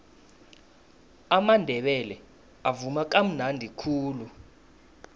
amandebele avuma kamnadi khulu